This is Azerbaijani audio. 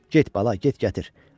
Get bala, get gətir.